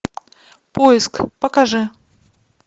поиск покажи